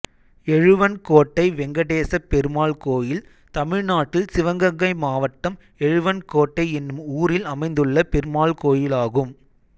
எழுவன்கோட்டை வெங்கடேசப் பெருமாள் கோயில் தமிழ்நாட்டில் சிவகங்கை மாவட்டம் எழுவன்கோட்டை என்னும் ஊரில் அமைந்துள்ள பெருமாள் கோயிலாகும்